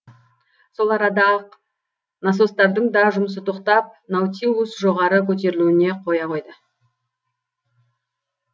сол арада ақ насостардың да жұмысы тоқтап наутилус жоғары көтерілуіне қоя қойды